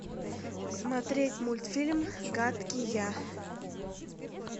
смотреть мультфильм гадкий я